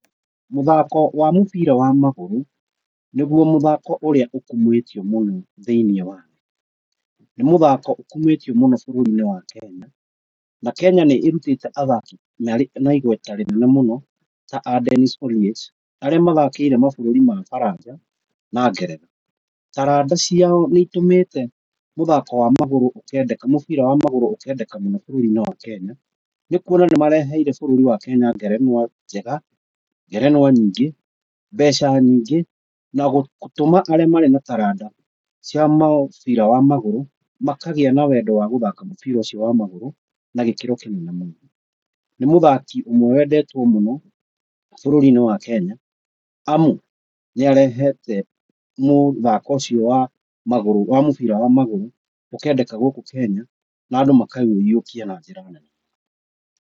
Mũthako wa mũbira wa magũrũ nĩguo mũthako ũrĩa ũkumĩtio mũno thĩinĩ wa, nĩ mũthako ũkumĩtio mũno thĩinĩ wa Kenya. Na Kenya nĩ ĩrutĩte athaki marĩ na igweta rĩnene mũno ta a Denis Oliech arĩa mathakĩire mabũrũri mabaranja na Ngeretha. Taranda ciao nĩ itũmĩte mũthako wa magũrũ ũkendeka, mũbira wa magũrũ ũkendeka mũno bũrũri-inĩ wa Kenya nĩ kwona nĩ mareheire bũrũri wa Kenya ngerenwa njega, ngerenwa nyingĩ, mbeca nyingĩ na gũtũma arĩa marĩ na taranda cia mũbira wa magũrũ makagĩa na wendo wa gũthaka mũbira ũcio wa magũrũ na gĩkĩro kĩnene mũno. Nĩ mũthaki ũmwe wendetwo mũno bũrũri-inĩ wa Kenya amu nĩ arehete mũthako ũcio wa magũrũ, wa mũbira wa magũrũ ũkendeka gũkũ Kenya na andũ makaũyũkia na njĩra nene